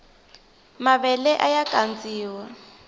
mavele aya kandziwa